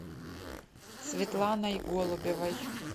светланой голубевой